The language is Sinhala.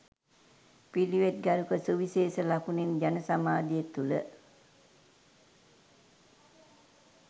පිළිවෙත් ගරුක සුවිශේෂ ලකුණෙන් ජනසමාජය තුළ